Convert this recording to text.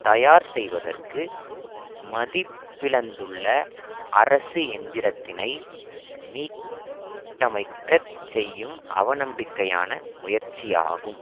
தயார் செய்வதற்கு மதிப்பிழந்துள்ள அரசு எந்திரத்தினை மீட்டமைக்கச் செய்யும் அவநம்பிக்கையான முயற்சியாகும்